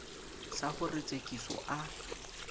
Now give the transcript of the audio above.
sa ho re tsekiso a